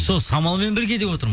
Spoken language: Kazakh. сол самалмен бірге деп отырмын